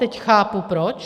Teď chápu proč.